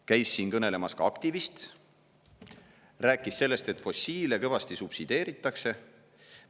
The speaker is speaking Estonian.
Käis siin kõnelemas ka aktivist ja rääkis sellest, et fossiile kõvasti subsideeritakse.